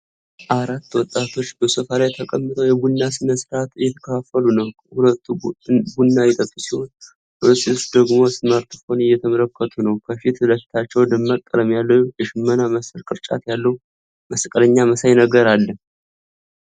አራት ወጣቶች በሶፋ ላይ ተቀምጠው የቡና ሥነ-ሥርዓት እየተካፈሉ ነው። ሁለቱ ቡና እየጠጡ ሲሆን፣ ሁለቱ ሴቶች ደግሞ ስማርትፎን እየተመለከቱ ነው። ከፊት ለፊታቸው ደማቅ ቀለም ያለው የሽመና መሰል ቅርጫት ያለው መስቀለኛ መሳይ ነገር አለ።